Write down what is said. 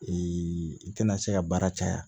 i tɛna se ka baara caya